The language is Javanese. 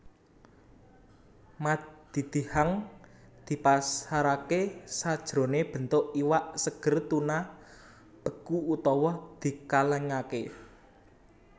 Madidihang dipasaraké sajroné bentuk iwak seger tuna beku utawa dikalèngaké